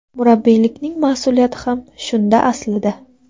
Murabbiylikning mas’uliyati ham shunda aslida.